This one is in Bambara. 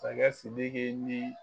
Masakɛ sidiki ni